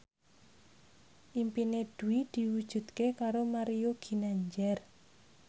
impine Dwi diwujudke karo Mario Ginanjar